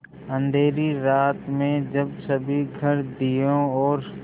अँधेरी रात में जब सभी घर दियों और